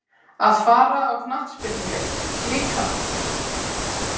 Að fara á knattspyrnuleik líka?